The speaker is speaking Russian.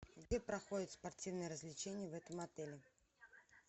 где проходят спортивные развлечения в этом отеле